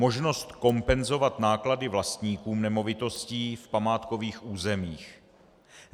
Možnost kompenzovat náklady vlastníkům nemovitostí v památkových územích.